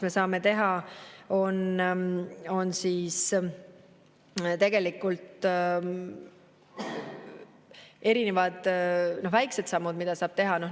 Me saame teha erinevaid väikeseid samme.